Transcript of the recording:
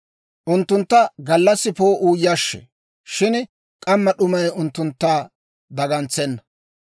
Unttuntta gallassaa poo'uu yashshee; shin k'amma d'umay unttuntta dagantsenna.